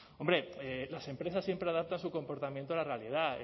hombre las empresas siempre adaptan su comportamiento a la realidad